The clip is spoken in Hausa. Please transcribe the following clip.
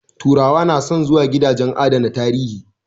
Turawa na son zuwa gidajen adana tarihi